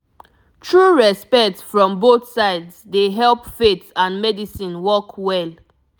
true respect from both sides dey help faith and medicine work well